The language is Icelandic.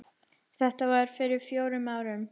Þetta var fyrir fjórum árum.